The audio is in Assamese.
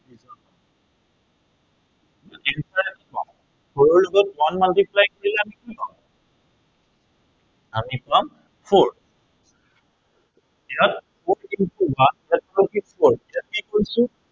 four ৰ লগত one multiply কৰিলে আমি কি পাম আমি পাম four ইয়াত four into one equal to four এতিয়া আমি কি কৰিছো